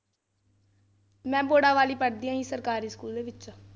ਮੈਂ ਬੋੜਾਵਾਲ ਹੀ ਪੜ੍ਹਦੀ ਹਾਂ ਜੀ ਸਰਕਾਰੀ ਸਕੂਲ ਵਿੱਚ।